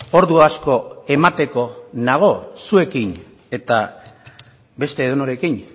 ordu asko emateko nago zuekin eta beste edonorekin